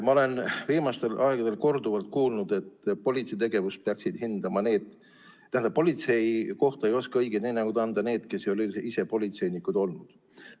Ma olen viimastel aegadel korduvalt kuulnud, et politsei kohta ei oska õiget hinnangut anda need, kes ei ole ise politseinikud olnud.